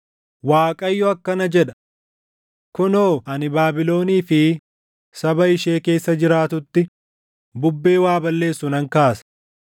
Waaqayyo akkana jedha: “Kunoo ani Baabilonii fi saba ishee keessa jiraatutti bubbee waa balleessu nan kaasa.